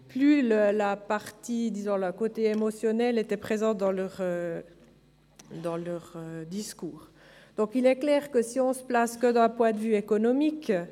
Bevor wir zu den Einzelsprechenden kommen, darf ich Gäste auf der Tribüne begrüssen.